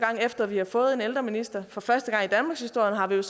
efter vi har fået en ældreminister for første gang i danmarkshistorien har vi nu